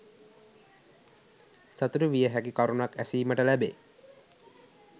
සතුටුවිය හැකි කරුණක් ඇසීමට ලැබේ.